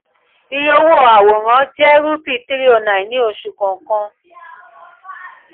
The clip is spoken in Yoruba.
iye owó àwòrán yà jẹ́ rupee three o nine ] ní oṣù kọ̀ọ̀kan.